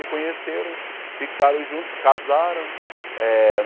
Se conheceram, ficaram juntos, casaram. Eh